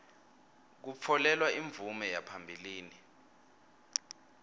kutfolelwa imvume yaphambilini